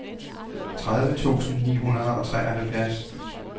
tredive tusind ni hundrede og treoghalvtreds